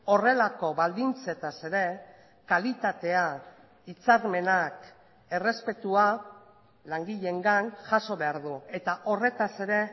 horrelako baldintzetaz ere kalitatea hitzarmenak errespetua langileengan jaso behar du eta horretaz ere